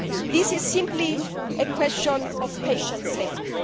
This is simply a question of patient safety.